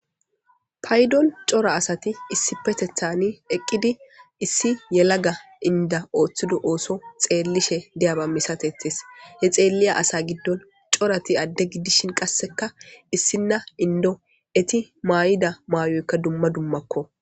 Paydon cora asati isipetethani eqidi issi yelaga Inda oothido osso xelishe diyaba misatetees; he xeliya asa gidon corati adde gidishin qasekka issina inddo etti mayida mayoykka dumma dummakko.